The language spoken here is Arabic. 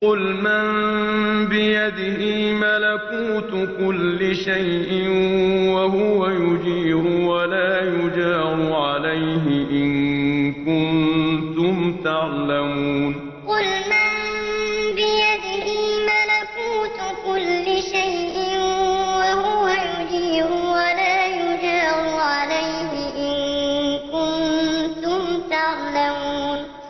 قُلْ مَن بِيَدِهِ مَلَكُوتُ كُلِّ شَيْءٍ وَهُوَ يُجِيرُ وَلَا يُجَارُ عَلَيْهِ إِن كُنتُمْ تَعْلَمُونَ قُلْ مَن بِيَدِهِ مَلَكُوتُ كُلِّ شَيْءٍ وَهُوَ يُجِيرُ وَلَا يُجَارُ عَلَيْهِ إِن كُنتُمْ تَعْلَمُونَ